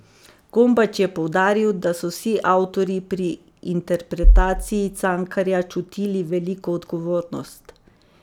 Gombač je poudaril, da so vsi avtorji pri interpretaciji Cankarja čutili veliko odgovornost.